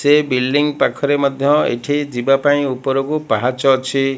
ସେ ବିଲଙ୍ଗ୍ ପାଖରେ ମଧ୍ୟ ଏଠି ଯିବାପାଇଁ ଉପରକୁ ପାହାଚ ଅଛି।